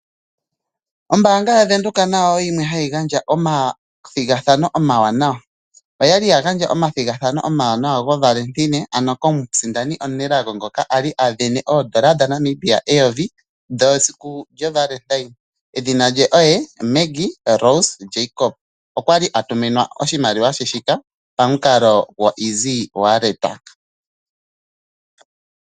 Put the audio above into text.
Ombanga yaVenduka nayo oyo yimwe hayi gandja omathigathano omawanawa. Oyali yagandja omathigathano omawanawa govalentine ano komusindani omunelago ngoka ali avene odollar dhaNamibia eyovi dhesiku lyovalentine, edhina lye oye Maggie Rose Jacob okwali a tuminwa oshimaliwa she shika pamukalo gwo EasyWallet.